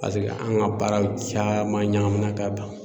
Paseke an ka baaraw caman ɲagamina ka bila.